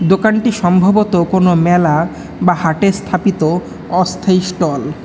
দোকানটি সম্ভবত কোন মেলা বা হাটে স্থাপিত অস্থায়ী স্টল ।